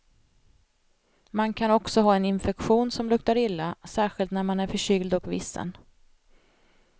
Man kan också ha en infektion som luktar illa, särskilt när man är förkyld och vissen.